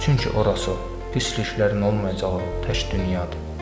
Çünki oranı pisliklərin olmayacağı tək dünyadır.